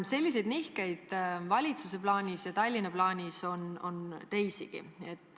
Selliseid nihkeid valitsuse plaanis ja Tallinna plaanis on teisigi.